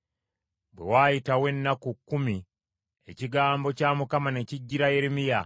Bwe waayitawo ennaku kkumi ekigambo kya Mukama ne kijjira Yeremiya.